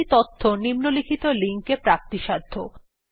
আরও বেশি তথ্য নিম্নলিখিত লিঙ্ক এ প্রাপ্তিসাধ্য